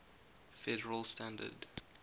federal standard